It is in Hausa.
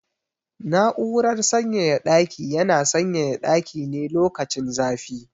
Na'urar sanyaya ɗaki yana sanyaya ɗaki ne lokacin zafi.